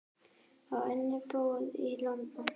Á einnig íbúð í London.